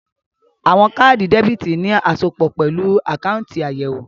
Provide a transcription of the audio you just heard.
Àwọn káàdì debítì ní asopọ̀ pẹ̀lú àkáùntì àyẹ̀wò